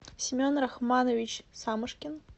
семен рахманович самошкин